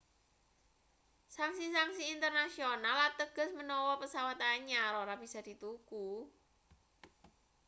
sanksi-sanksi internasional ateges menawa pesawat anyar ora bisa dituku